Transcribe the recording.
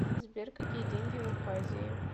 сбер какие деньги в абхазии